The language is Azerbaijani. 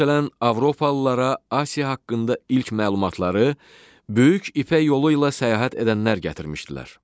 Məsələn, avropalılara Asiya haqqında ilk məlumatları Böyük İpək yolu ilə səyahət edənlər gətirmişdilər.